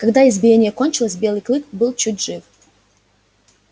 когда избиение кончилось белый клык был чуть жив